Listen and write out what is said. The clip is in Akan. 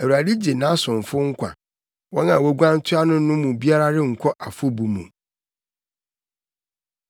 Awurade gye nʼasomfo nkwa; wɔn a woguan toa no no mu biara renkɔ afɔbu mu.